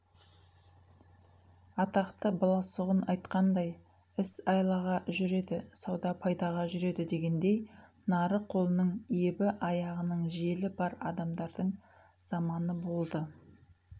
атақты баласағұн айтқандай іс айлаға жүреді сауда пайдаға жүреді дегендей нарық қолының ебі аяғының желі бар адамдардың заманы болды